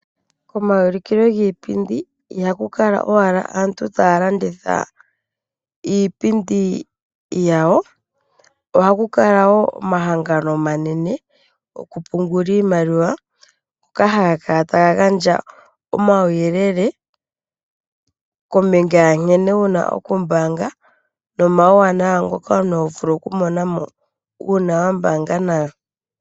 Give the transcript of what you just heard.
Komaulikilo giipindi ihaku kala owala aantu taalanditha iipindi yawo ohaku kalala wo omahangano omanene goku pungula iimaliwa ngoka haga kala taga gandja uuyelele kombinga ya nkene wuna oku kala wa mbaanga nomauwanawa ngoka omuntu to vulu okumona mo uuna wa mbaanga nawo.